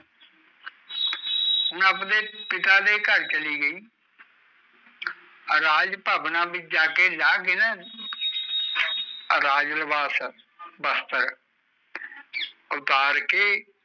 ਹੁਣ ਆਪਣੇ ਪਿਤਾ ਦੇ ਕਰ ਚਲੁ ਗਈ ਰਾਜ ਪਾਵਣਾ ਵੀਚ ਜਾਕੇ ਲਾਕੇ ਨਾ ਰਾਜ ਲਬਾਸ਼ ਵਸਤਰ ਉਤਾਰੱਕੇ